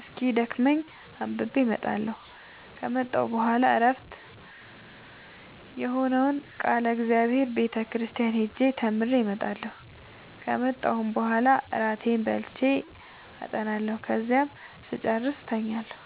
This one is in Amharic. እስኪደክመኝ አንብቤ እመጣለሁ ከመጣሁ በኋላ ዕረፍት የሆነውን ቃለ እግዚአብሔር ቤተ ክርስቲያን ሄጄ ተምሬ እመጣለሁ ከመጣሁም በኋላ እራቴን በልቼ አጠናለሁ ከዚያም ስጨርስ እተኛለሁ።